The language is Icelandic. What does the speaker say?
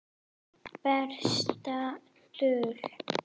Besta dul